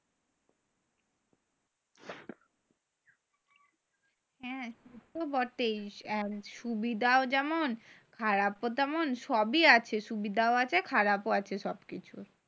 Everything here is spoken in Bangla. হ্যাঁ। সেতো বটেই। সুবিধাও যেমন খারাপও তেমন। সবই আছে. সুবিধাও আছে, খারাপও আছে সব কিছুর।